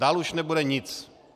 Dál už nebude nic.